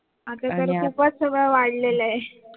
आता तर सगळं खूपच वाढलेलं आहे